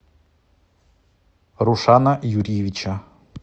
рушана юрьевича